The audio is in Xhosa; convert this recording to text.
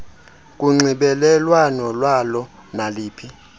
kunxibelelwano lwalo naliphi